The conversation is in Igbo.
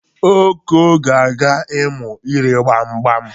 Oko ga-aga ịmụ ire gbam gbam.